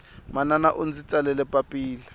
manana undzi tsalele papila